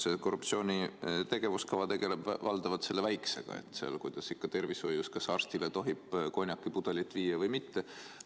See korruptsiooni tegevuskava tegeleb valdavalt selle väikesega, et kuidas ikka tervishoius on ja kas arstile tohib konjakipudeli viia või mitte.